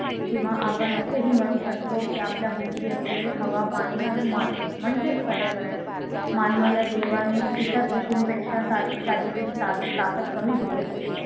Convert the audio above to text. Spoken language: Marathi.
किंवा आपण असे म्हणू शकतो की आपल्या भोवती असलेल्या हवा पाणी आणि माती म्हणजेच पर्यावरण मानवाला देवाने इतर पशुंपेक्षा शरि शारीरिक ता ताकद कमी दिली असेल